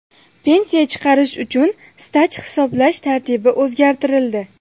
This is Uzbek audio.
Pensiya chiqarish uchun staj hisoblash tartibi o‘zgartirildi.